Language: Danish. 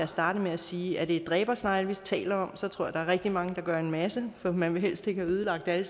startede med at sige er det dræbersnegle vi taler om så tror jeg at der er rigtig mange der gør en masse for man vil helst ikke have ødelagt alle